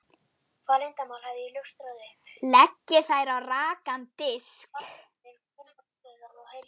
Leggið þær á rakan disk.